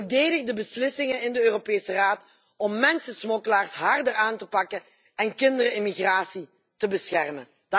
Verdedig de beslissingen in de Europese Raad om mensensmokkelaars harder aan te pakken en kinderen in migratie te beschermen.